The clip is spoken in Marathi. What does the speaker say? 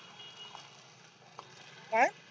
काय?